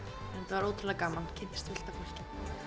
var ótrúlega gaman kynntist fullt af fólki